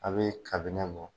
A be bɔ